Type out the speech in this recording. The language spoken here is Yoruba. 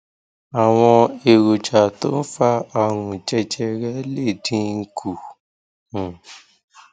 àwọn èròjà tó ń fa àrùn jẹjẹrẹ lè dín kù um